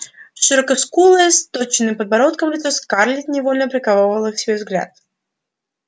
широкоскулое с точёным подбородком лицо скарлетт невольно приковывало к себе взгляд